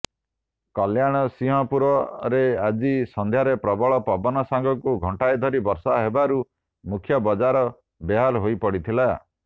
କଲ୍ୟାଣସିଂହପୁରରେ ଆଜି ସନ୍ଧ୍ୟାରେ ପ୍ରବଳ ପବନ ସାଙ୍ଗକୁ ଘଣ୍ଟାଏ ଧରି ବର୍ଷା ହେବାରୁ ମୁଖ୍ୟ ବଜାର ବେହାଲ ହୋଇପଡିଥିଲା